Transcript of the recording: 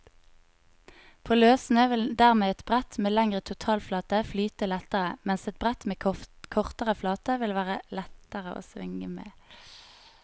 På løssnø vil dermed et brett med lengre totalflate flyte lettere, mens et brett med kortere flate vil være lettere å svinge med.